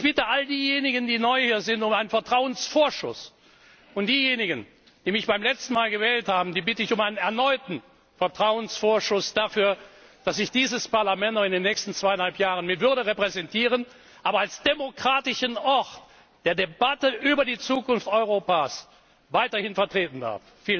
Ich bitte all diejenigen, die neu hier sind, um einen Vertrauensvorschuss, und diejenigen, die mich beim letzten Mal gewählt haben, bitte ich um einen erneuten Vertrauensvorschuss dafür, dass ich dieses Parlament auch in den nächsten zweieinhalb Jahren mit Würde repräsentieren und als demokratischen Ort der Debatte über die Zukunft Europas weiterhin vertreten darf.